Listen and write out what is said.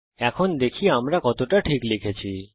এখন দেখি আমরা কতটা ঠিক লিখেছি